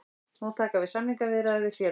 Nú taka við samningaviðræður við félagið